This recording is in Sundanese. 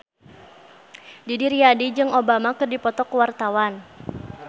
Didi Riyadi jeung Obama keur dipoto ku wartawan